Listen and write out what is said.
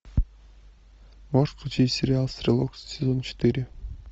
можешь включить сериал стрелок сезон четыре